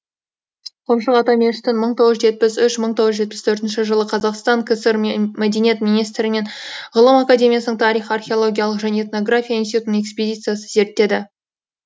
құмшық ата мешітін мың тоғыз жүз жетпіс үш мың тоғыз жүз жетпіс төртінші жылы қазақстан кср мәдениет министрі мен ғылым академиясының тарих археологиялық және этнография институтының экспедициясы зерттеді